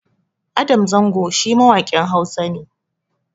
Adam Zango shi mawaƙin Hausa ne